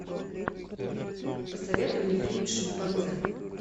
посоветуй мне фильм шимпанзе